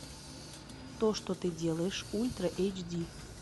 то что ты делаешь ультра эйч ди